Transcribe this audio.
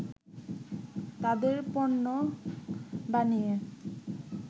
তাদের পণ্য বানিয়ে